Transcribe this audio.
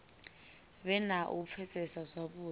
vhe na u pfesesa zwavhudi